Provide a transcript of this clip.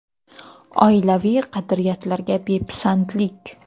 Oilaviy qadriyatlarga bepisandlik.